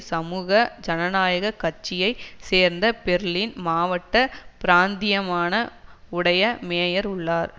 சமூக ஜனநாயக கட்சியை சேர்ந்த பெர்லின் மாவட்ட பிராந்தியமான உடைய மேயர் உள்ளார்